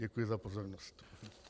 Děkuji za pozornost.